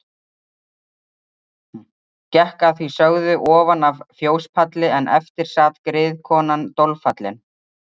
Gekk að því sögðu ofan af fjóspalli en eftir sat griðkonan dolfallin.